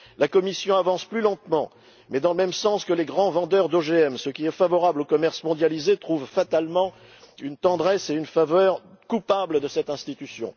La Commission avance plus lentement, mais dans le même sens que les grands vendeurs d'OGM ce qui est favorable au commerce mondialisé trouve fatalement une tendresse et une faveur coupables dans cette institution.